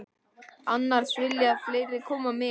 Annars vilja fleiri koma með.